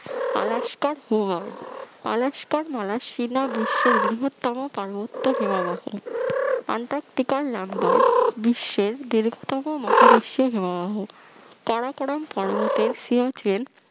Alaska হোয়ার্ড আলাস্কার মালা সীনা বিশ্বের বৃহত্তম পার্বত্য হিমবাহ আন্টার্টিকার লামবার্ড বিশ্বের দীর্ঘতম মহাদেশীয় হিমবাহ কারাকোরাম পর্বতের সিয়াচেন